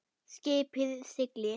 Skipið siglir.